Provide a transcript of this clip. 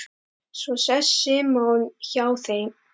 Svo sest Símon hjá þeim